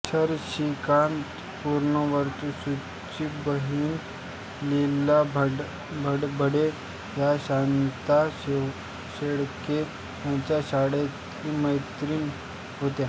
शशिकांत पुनर्वसूंची बहीण लीला भडभडे या शांता शेळके यांच्या शाळामैत्रीण होत्या